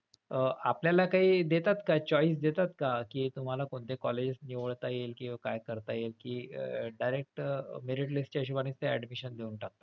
अह आपल्याला काही देतात का choice देतात का कि तुम्हाला कोणते colleges निवडता येईल किंवा काय करता येईल कि direct merit list च्या हिशोबाने ते admission देऊन टाकतात.